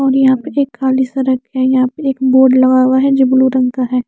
ओर यहा एक रके यहा पे एक बोर्ड लगा हुआ है जो ब्लू रंग का है।